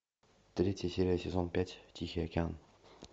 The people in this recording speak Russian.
третья серия сезон пять тихий океан